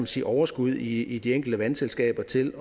sige overskud i de enkelte vandselskaber til